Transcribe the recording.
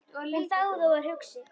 Hún þagði og var hugsi.